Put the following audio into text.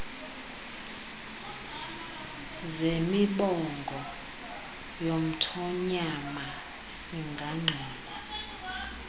zemiboongo yomthonyama singangqina